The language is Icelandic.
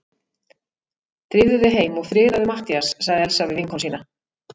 Drífðu þig heim og friðaðu Matthías sagði Elsa við vinkonu sína.